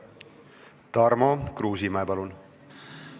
Tarmo Kruusimäe, palun!